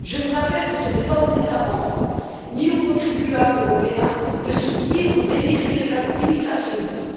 Je vous rappelle que ce n'est pas aux États membres, ni aux contribuables européens, de soutenir vos délires immigrationnistes.